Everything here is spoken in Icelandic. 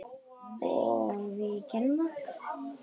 Og við gerðum það.